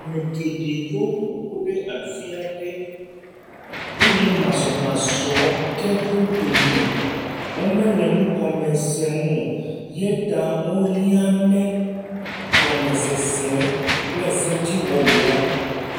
Ame geɖewo ƒoƒu ɖe afi aɖe, eye masɔmsɔge ɖe wo dome, eya ta wohiane gɔmesese kple sedziwɔwɔ.